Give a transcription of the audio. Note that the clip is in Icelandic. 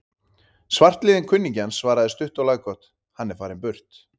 Svartliðinn kunningi hans svaraði stutt og laggott: Hann er farinn burt